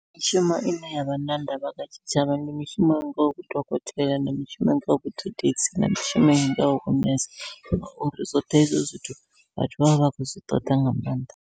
Mishumo ine yavha na ndavha nga tshitshavha ndi mishumo i ngaho vhudokotela, ndi mishumo i ngaho vhudededzi, na mishumo i ngaho vhu nese ngauri zwoṱhe hezwo zwithu vhathu vha vha vha khou zwi ṱoḓa nga maanḓa.